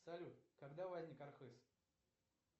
салют когда возник архыз